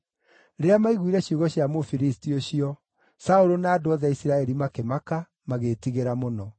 Rĩrĩa maiguire ciugo cia Mũfilisti ũcio, Saũlũ na andũ othe a Isiraeli makĩmaka, magĩĩtigĩra mũno.